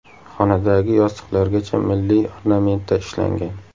Xonadagi yostiqlargacha milliy ornamentda ishlangan.